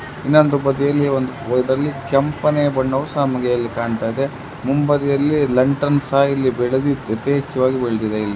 ಇನ್ನೊಂದು ಬದಿಯಲ್ಲಿ ಒಂದ್ ಕೆಂಪನೆ ಬಣ್ಣವು ಸಹ ನಮಗೆ ಕಾಣ್ತದೆ. ಮುಂಭಾಗದಲ್ಲಿ ಲಂಟಾನ ಸಹಾ ಇಲ್ಲಿ ಬೆಳದಿದ್ ಅತಿ ಹೆಚ್ಛ್ವಾಗಿ ಬೆಳದಿದೆ ಇಲ್ಲಿ.